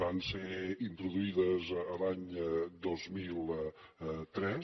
van ser introduïdes l’any dos mil tres